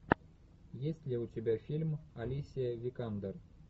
есть ли у тебя фильм алисия викандер